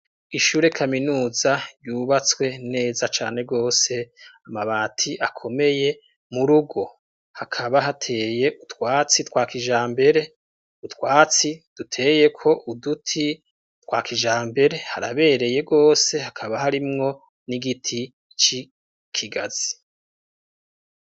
Ishure kaminuza yubatswe neza cane gose ,amabati akomeye ,murugo hakaba hateye utwatsi twa kijambere, utwatsi duteyeko uduti twa kijambere, harabereye gose hakaba harimwo n'igiti ci kigazi.